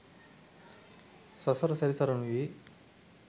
සසර සැරිසරනුයේ